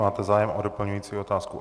Máte zájem o doplňující otázku?